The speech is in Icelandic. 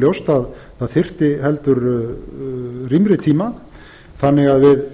ljóst að það þyrfti heldur rýmri tíma þannig að við